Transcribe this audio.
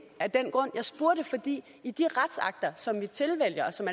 af den grund jeg spurgte fordi i de retsakter som vi tilvælger og som